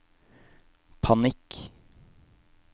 panikk